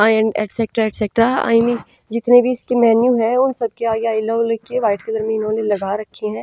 And etcetera etcetera I mean जितने भी इनके मैन्यु है उन सब के आगे व्हाइट कलर में इन्होंने लगा रखे हैं।